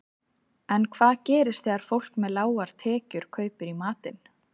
En hvað gerist þegar fólk með lágar tekjur kaupir í matinn?